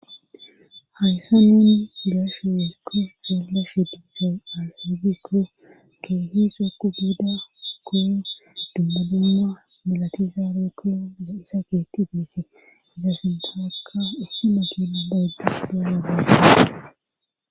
hayssa nuuni be'ashe woykko xeelishe dizay asati keehi sekku giida koo dumbunumma milatizaarekkon de isa keetti teese zafintaakka ussema kina bayddus